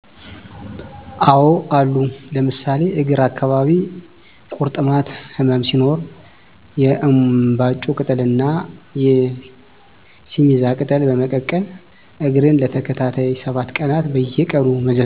አዎ አሉ ለምሳሌ እግር አካባቢ ቂርጥማት ህመም ሲኖር የእንባጮ ቅጠል ና የሲሚዛ ቅጠል በመቀቀል እግርን ለተከታታይ 7 ቀናት በየቀኑ መዘፍዘፍ ህመሙ እንዲተወን ያደርጋል።